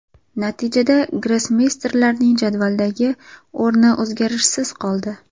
Natijada grossmeysterlarning jadvaldagi o‘rni o‘zgarishsiz qoldi.